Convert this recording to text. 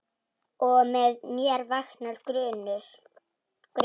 Og með mér vaknar grunur.